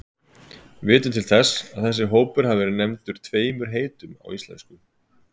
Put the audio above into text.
Við vitum til þess að þessi hópur hafi verið nefndur tveimur heitum á íslensku.